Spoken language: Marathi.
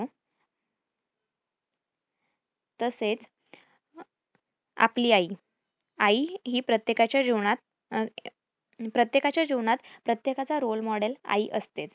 तसेच आपली आई आई ही प्रत्येकाच्या जीवनात अह प्रत्येकाच्या जीवनात प्रत्येकाचा role model आई असते.